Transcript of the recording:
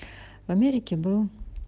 в америке был